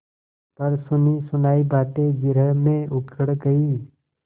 पर सुनीसुनायी बातें जिरह में उखड़ गयीं